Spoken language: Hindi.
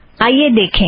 आईए देखें